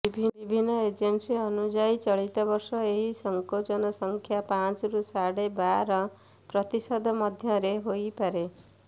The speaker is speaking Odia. ବିଭିନ୍ନ ଏଜେନ୍ସି ଅନୁଯାୟୀ ଚଳିତ ବର୍ଷ ଏହି ସଙ୍କୋଚନ ସଂଖ୍ୟା ପାଞ୍ଚରୁ ସାଢ଼େ ବାର ପ୍ରତିଶତ ମଧ୍ୟରେ ହୋଇପାରେ